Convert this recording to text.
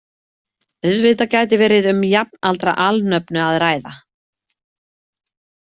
Auðvitað gæti verið um jafnaldra alnöfnu að ræða.